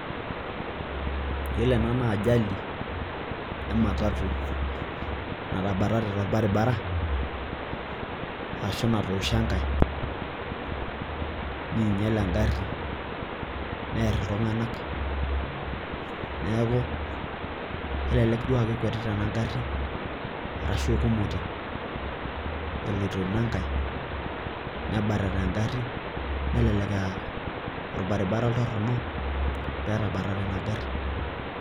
Yiolo ena naa ajali ematatu natabatate torbaribara ashuu natoosho enkae neinyia engari near iltung'anak neeku kelelek duo aa kekwetita ena gari arashuu eikumote eloito ina nkae nebatata engari nelelek aa orbaribara oltoronok peetabatate ena gari.